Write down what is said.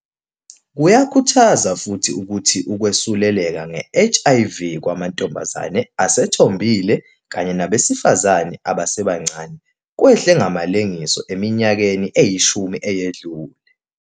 Kuyakhuthaza futhi ukuthi ukwesuleleka nge-HIV kwamantombazane asethombile kanye nabesifazane abasebancane kwehle ngamalengiso eminyakeni eyishumi eyedlule.